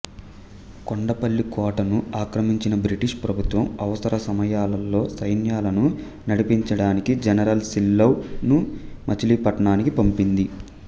కొండపల్లి కోటను ఆక్రమించిన బ్రిటిష్ ప్రభుత్వం అవసర సమయాలలో సైన్యాలను నడిపించడానికి జనరల్ సిల్లౌడ్ ను మచిలీపట్నానికి పంపింది